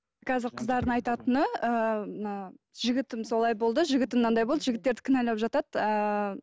қазір қыздардың айтатыны ыыы мына жігітім солай болды жігітім мынандай болды жігіттерді кінәлап жатады ыыы